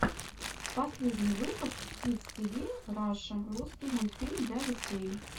последний выпуск кидс тиви раша русский мультфильмы для детей